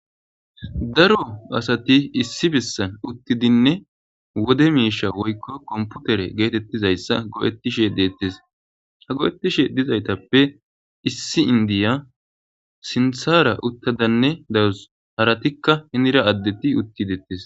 Daro asati issi bissan uttidinne wode miisha woykko komputere geetettizayssa go'ettishe deettis ha go'ettishe dizaytappe issi indiya sinthara uttadanne dawus haratikka hinira addetti uttidettis.